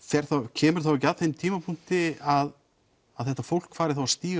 kemur þá ekki að þeim tímapunkti að þetta fólk fari þá að stíga